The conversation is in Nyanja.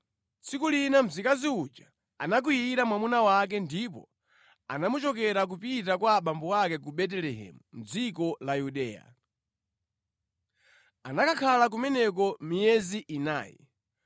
Tsiku lina mzikazi uja anakwiyira mwamuna wake ndipo anamuchokera kupita kwa abambo ake ku Betelehemu mʼdziko la Yuda. Anakakhala kumeneko miyezi inayi.